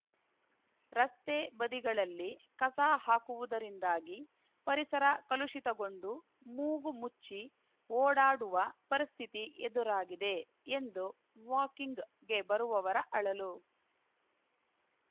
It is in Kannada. ರಸ್ತೆ ಬದಿಗಳಲ್ಲಿ ಕಸ ಹಾಕುವುದರಿಂದಾಗಿ ಪರಿಸರ ಕಲುಷಿತಗೊಂಡು ಮೂಗು ಮುಚ್ಚಿ ಓಡಾಡುವ ಪರಿಸ್ಥಿತಿ ಎದುರಾಗಿದೆ ಎಂದು ವಾಕಿಂಗ್‌ಗೆ ಬರುವವರ ಅಳಲು